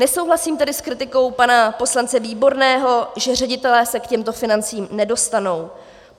Nesouhlasím tedy s kritikou pana poslance Výborného, že ředitelé se k těmto financím nedostanou.